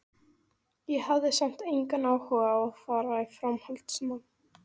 Ég hafði samt engan áhuga á að fara í framhaldsnám.